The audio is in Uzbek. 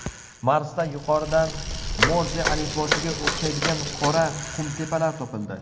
Marsda yuqoridan Morze alifbosiga o‘xshaydigan qora qumtepalar topildi.